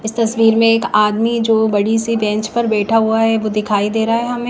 इस तस्वीर में एक आदमी जो बड़ी सी बैंच पर बैठा हुआ है वो दिखाई दे रहा है हमे--